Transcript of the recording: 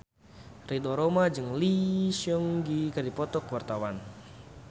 Ridho Roma jeung Lee Seung Gi keur dipoto ku wartawan